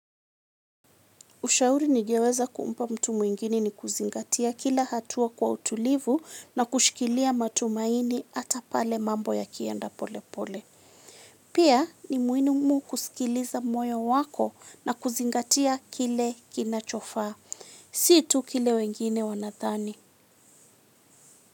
Ushauri nigeweza kumpa mtu mwingine ni kuzingatia kila hatua kwa utulivu na kushikilia matumaini hata pale mambo yakienda pole pole. Pia ni muhimu kusikiliza moyo wako na kuzingatia kile kinachofaa. Si tu kile wengine wanadhani.